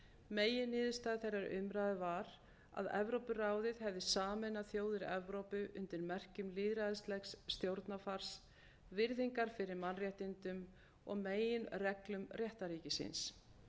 meginniðurstaða þeirrar umræðu var að evrópuráðið hefði sameinað þjóðir evrópu undir merkjum lýðræðislegs stjórnarfars virðingar fyrir mannréttindum og meginreglum réttarríkisins